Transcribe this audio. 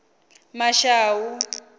mashau